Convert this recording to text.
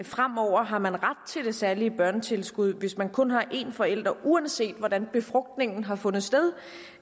fremover har man ret til det særlige børnetilskud hvis man kun har en forælder uanset hvordan befrugtningen har fundet sted